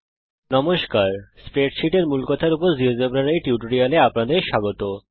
নমস্কার স্প্রেডসীট এর মূলকথার উপর জীয়োজেব্রার এই টিউটোরিয়াল এ আপনাদের স্বাগত জানাই